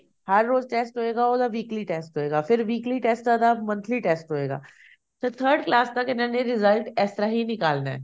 ਹਰ ਰੋਜ਼ test ਹੋਏਗਾ ਉਹਦਾ weekly test ਹੋਏਗਾ ਫੇਰ weekly test ਤੋਂ ਬਾਅਦ monthly test ਹੋਏਗਾ ਤੇ third class ਤੱਕ ਇਹਨਾਂ ਨੇ result ਇਸ ਤਰ੍ਹਾਂ ਹੀ ਨਿਕਾਲਨਾ